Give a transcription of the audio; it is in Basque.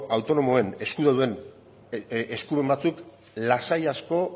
autonomoen eskumen batzuk lasai asko